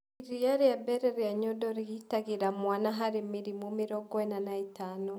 Iria rĩa mbere rĩa Nyondo rĩgitagĩra mwana harĩ mĩrimũ mĩrongo ĩna na ĩtano